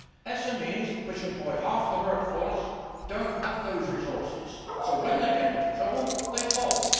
SMEs, which employ half the workforce, do not have those resources, so when they get into trouble, they fold.